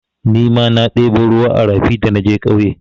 Nima na ɗebo ruwa a rafi da naje ƙauye.